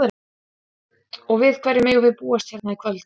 Og við hverju megum við búast hérna í kvöld?